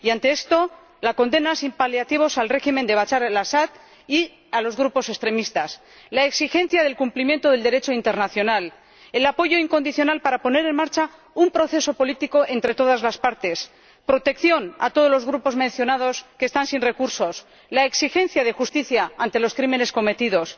Y ante esto, la condena sin paliativos del régimen de Bashar al Asad y de los grupos extremistas, la exigencia del cumplimiento del Derecho internacional, el apoyo incondicional para poner en marcha un proceso político entre todas las partes, protección a todos los grupos mencionados que están sin recursos, y la exigencia de justicia ante los crímenes cometidos.